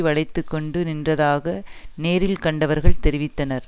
வளைத்துக்கொண்டு நின்றதாக நேரில் கண்டவர்கள் தெரிவித்தனர்